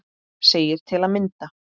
segir til að mynda